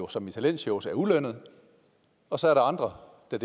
som i talentshows er ulønnede og så er der andre der